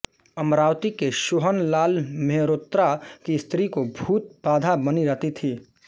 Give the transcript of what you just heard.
अमरावती के सोहनलाल मेहरोत्रा की स्त्री को भूत बाधा बनी रहती थी